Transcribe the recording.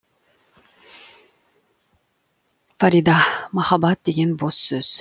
фарида махаббат деген бос сөз